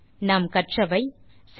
இந்த டியூட்டோரியல் இல் நாம் கற்றவை 1